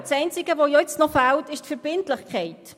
Das Einzige, das fehlt, ist die Verbindlichkeit.